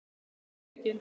Verð ég rekinn?